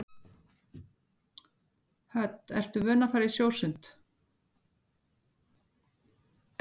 Hödd: Ertu vön að fara í sjósund?